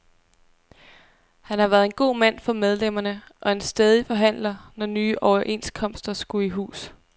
Han har været en god mand for medlemmerne, og en stædig forhandler, når nye overenskomster skulle i hus.